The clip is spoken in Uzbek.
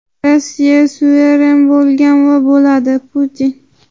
Rossiya suveren bo‘lgan va bo‘ladi – Putin.